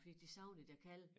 Fordi de savner deres kalve